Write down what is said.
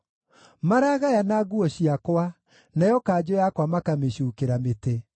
Maragayana nguo ciakwa, nayo kanjũ yakwa makamĩcuukĩra mĩtĩ.